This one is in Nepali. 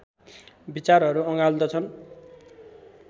विचारहरू अँगाल्दछन्